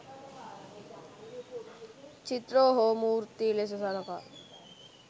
චිත්‍ර හෝ මූර්ති ලෙස සලකා.